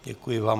Děkuji vám.